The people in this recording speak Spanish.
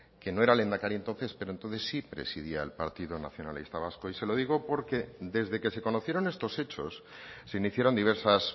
que no era el lehendakari entonces pero entonces sí presidía el partido nacionalista vasco y se lo digo porque desde que se conocieron estos hechos se iniciaron diversas